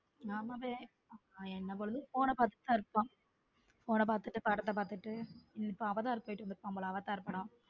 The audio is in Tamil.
என்ன பொழுதும் phone பாத்துட்டு தான் இருப்பான phone பாத்துட்டு படத்தை பார்த்துட்டு இப்ப அவதார் போயிட்டு வந்திருப்பான் போல அவதார் படம்.